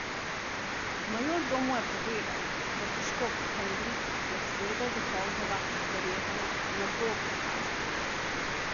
Majordom mu je povedal, da se škof Henrik pred sredo dopoldneva verjetno ne bo prikazal.